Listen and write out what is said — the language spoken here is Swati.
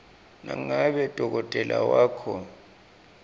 nangabe dokotela wakho